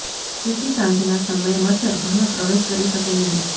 જેથી સાંજના સમયે મચ્છર ઘરમાં પ્રવેશ કરી શકે નહીં